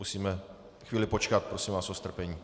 Musíme chvíli počkat, prosím vás o strpení.